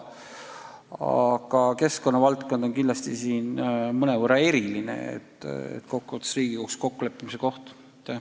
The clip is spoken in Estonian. Samas keskkonna valdkond on kindlasti mõnevõrra eriline ja kokkuvõttes on tegu riigiga kokkuleppimise kohaga.